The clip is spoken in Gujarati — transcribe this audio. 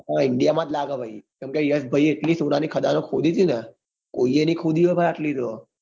હા India માં જ ભાઈ કેમ કે યશ ભાઈએ એટલી સોના ની કાળનો ખોદી હતી ને કોઈએ ની ખોદી હોય આટલી તો